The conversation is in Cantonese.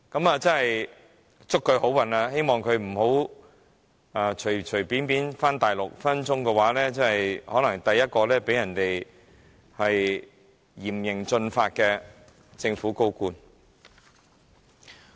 我真要祝他好運，他也不要隨便返回大陸，否則隨時可能成為首個面對嚴刑峻法的香港政府高官。